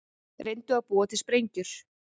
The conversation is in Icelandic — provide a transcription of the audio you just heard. Reyndu að búa til sprengjur